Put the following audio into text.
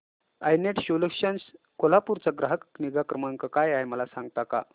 I net solutions Kolhapur चा ग्राहक निगा क्रमांक काय आहे मला सांगता का